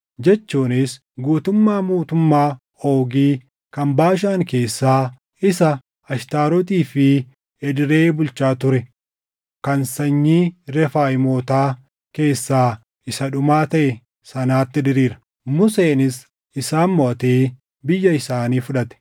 jechuunis guutummaa mootummaa Oogi kan Baashaan keessaa isa Ashtaarotii fi Edreyii bulchaa ture kan sanyii Refaayimootaa keessaa isa dhumaa taʼe sanaatti diriira. Museenis isaan moʼatee biyya isaanii fudhate.